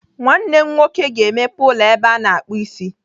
Nwanne m nwoke ga-emepe ụlọ ebe a na-akpụ isi.